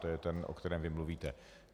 To je ten, o kterém vy mluvíte.